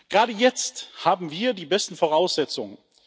Gerade jetzt haben wir die besten Voraussetzungen.